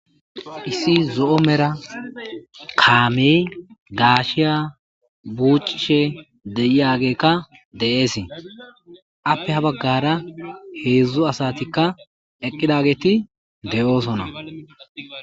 Issi zo'o medhdha kame gashshiya buchishen de'oyagekka appe ha bagara hedzdzu asatikka eqqidagetti de'osona.